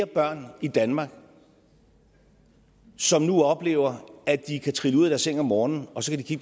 børn i danmark som nu oplever at de kan trille ud af deres seng om morgenen og så kan de